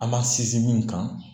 An ma sinsin min kan